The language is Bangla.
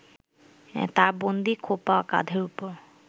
তার বন্দী খোঁপা কাঁধের ওপর